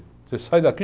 Você sai daqui...